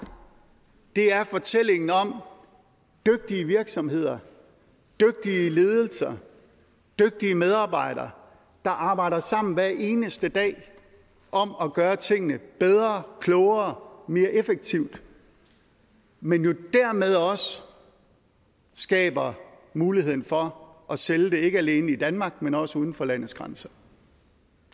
det er fortællingen om dygtige virksomheder dygtige ledelser dygtige medarbejdere der arbejder sammen hver eneste dag om at gøre tingene bedre og klogere og mere effektivt men jo dermed også skaber muligheden for at sælge det ikke alene i danmark men også uden for landets grænser